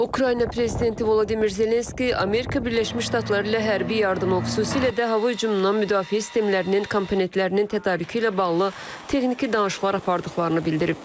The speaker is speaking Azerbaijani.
Ukrayna prezidenti Vladimir Zelenski Amerika Birləşmiş Ştatları ilə hərbi yardımı, xüsusilə də hava hücumundan müdafiə sistemlərinin komponentlərinin tədarükü ilə bağlı texniki danışıqlar apardıqlarını bildirib.